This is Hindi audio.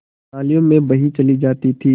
नालियों में बही चली जाती थी